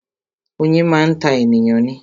Oyin máa ń ta ènìyàn ni